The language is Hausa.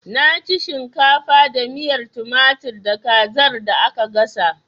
Na ci shimkafa da miyar tumatir da kazar da aka gasa